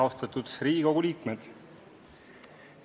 Austatud Riigikogu liikmed!